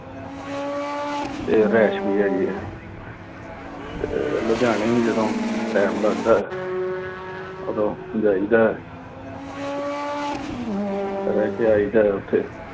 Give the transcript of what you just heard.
ਤੇ ਰਿਹਾਇਸ਼ ਵੀ ਹੈਗੀ ਆ। ਤੇ ਲੁਧਿਆਣੇ, ਜਦੋਂ time ਲੱਗਦਾ। ਉਦੋਂ ਜਾਈਦਾ। ਰਹਿ ਕੇ ਆਈਦਾ ਉਥੇ।